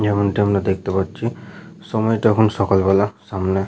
যেমনটা আমরা দেখতে পাচ্ছি সময়টা এখন সকালবেলা। সামনে --